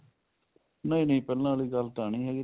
ਨਹੀਂ ਨਹੀਂ ਪਹਿਲਾਂ ਵਾਲੀ ਗੱਲ ਤਾਂ ਨਹੀਂ